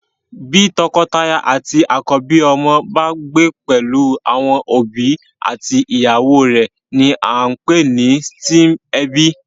Bí tọkọtaya àti akọbi ọmọ bá gbé pelu àwọn òbí àti ìyàwó rẹ ní a npè ní stem ebi